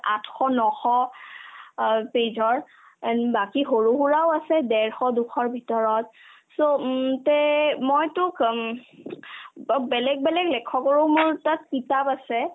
আঠশ নশ অ page ৰ and বাকি সৰুসুৰাও আছে ডেৰশ দুশৰ ভিতৰত so উম তে মই তোক ঊম অ বেলেগ লেখকৰো মোৰ তাত কিতাপ আছে